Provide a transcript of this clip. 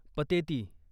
Pateti